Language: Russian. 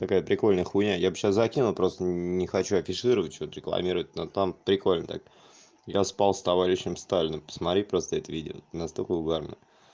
такая прикольная хуйня я б сейчас закину просто не хочу афишировать всё это рекламировать но там прикольно так я спал с товарищем сталиным посмотри просто это видимо это настолько смешно